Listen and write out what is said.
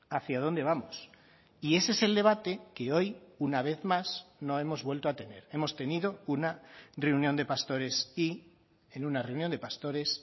hacia dónde vamos y ese es el debate que hoy una vez más no hemos vuelto a tener hemos tenido una reunión de pastores y en una reunión de pastores